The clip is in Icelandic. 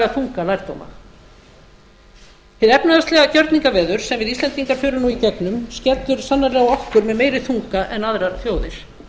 þunga lærdóma hið efnahagslega gjörningaveður sem við íslendingar förum nú í gegnum skellur sannarlega á okkur með meiri þunga en aðrar þjóðir